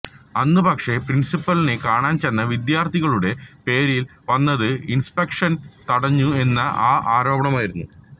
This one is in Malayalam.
അന്ന് പക്ഷേ പ്രിന്സിപ്പലിനെ കാണാന് ചെന്ന വിദ്യാര്ഥികളുടെ പേരില് വന്നത് ഇന്സ്പെക്ഷന് തടഞ്ഞു എന്നുള്ള ആരോപണമായിരുന്നു